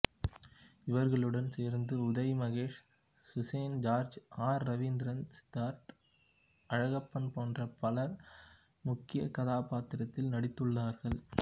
இவர்களுடன் சேர்ந்து Uday Mahesh Suzanne George R Ravindran Siddharth Alagappan போன்ற பலர் முக்கியாகதாபாத்திரத்தில் நடித்துள்ளார்கள்